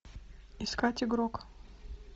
искать игрок